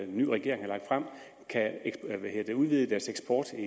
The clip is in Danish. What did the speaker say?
nye regering har lagt frem at udvide deres eksport